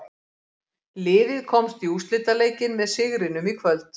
Liðið komst í úrslitaleikinn með sigrinum í kvöld.